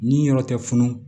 Ni yɔrɔ tɛ funu